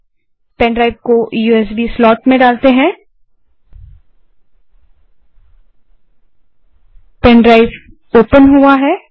अब पेनड्राइव को USB slot में डालते हैं पेनड्राइव ओपन हुआ है